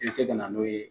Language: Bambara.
I bɛ se ka na n'o ye